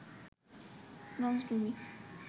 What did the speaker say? লঞ্চডুবি